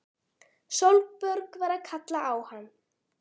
Sólborg var að kalla á hann!